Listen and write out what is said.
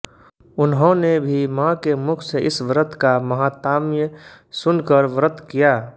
उन्होंने भी माँ के मुख से इस व्रत का माहात्म्य सुनकर व्रत किया